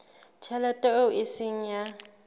tjhelete eo e seng ya